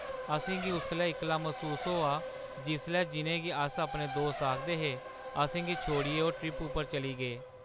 असेंगी उसलै इक्कला मसूस होआ जिसलै जि'नेंगी अस अपने दोस्त आखदे हे, असेंगी छोड़ियै ओह् ट्रिप उप्पर चली गे।